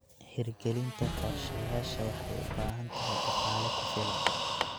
Hirgelinta qorshayaasha waxay u baahan tahay dhaqaale ku filan.